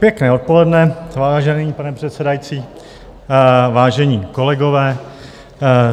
Pěkné odpoledne, vážený pane předsedající, vážení kolegové.